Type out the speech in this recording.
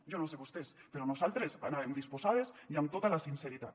jo no sé vostès però nosaltres hi anàvem disposades i amb tota la sinceritat